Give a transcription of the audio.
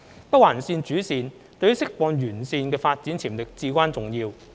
北環綫主綫對於釋放沿線的發展潛力至關重要。